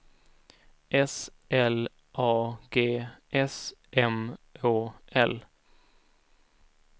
S L A G S M Å L